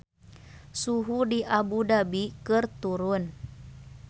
Suhu di Abu Dhabi keur turun